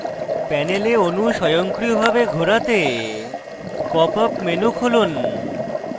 panel অনু স্বয়ংক্রিয়ভাবে ঘোরাতে pop up menu খুলুন